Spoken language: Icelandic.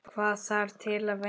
Hvað þarf til að vinna?